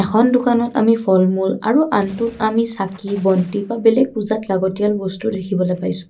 এখন দোকানত আমি ফল মূল আৰু আনটোত আমি চাকি বন্তি বা বেলেক পূজাত লাগতীয়াল বস্তু দেখিবলৈ পাইছোঁ।